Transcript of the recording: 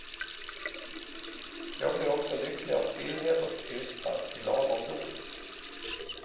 Jag blir också lycklig av stillhet och tystnad, i lagom dos.